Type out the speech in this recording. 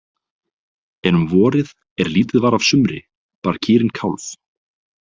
En um vorið er lítið var af sumri bar kýrin kálf.